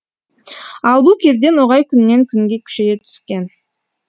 ал бұл кезде ноғай күннен күнге күшейе түскен